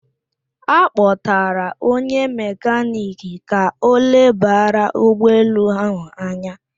A kpọtạrạ onye mekaniki ka o lebara ụgbọ elu ahụ anya